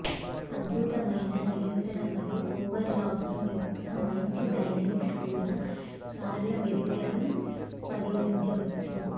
అద్భుతమైన నియంత్రణ మరియు ఓవర్లాకింగ్ యొక్క మంచి డైనమిక్స్ కూడా కార్ల మెరిట్లను పరిగణించవచ్చు